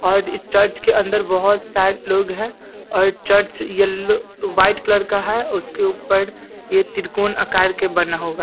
और इस चर्च के अंदर बहुत सारे लोग है और चर्च येलो व्हाइट कलर का है उसके ऊपर ये त्रिकोण आकार के बना होगा ।